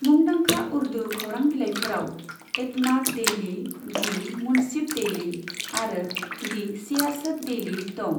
मुंदांखा उर्दु खौरां बिलाइफोराव Etemaad daily, the Munsif daily आरो दि सियासत डेइली दं।